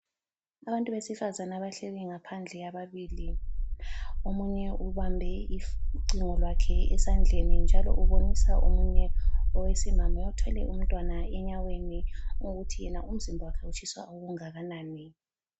Abantu besifazana abahleli ngaphandle ababili , omunye ubambe ucingo lwakhe esandleni njalo ubonisa omunye owesimame othwele umtwana enyaweni ukuthi yena umzimba wakhe utshisa okungakanani